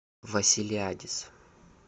василиадис